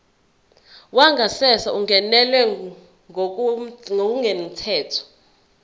wangasese ungenelwe ngokungemthetho